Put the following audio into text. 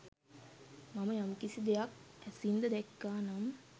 මම යම්කිසි දෙයක් ඇසින්ද දැක්කා නම්